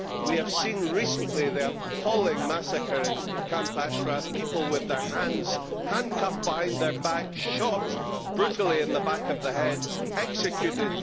We have seen recently the appalling massacre in Camp Ashraf, people with their hands handcuffed behind their back, shot brutally in the back of the head, executed.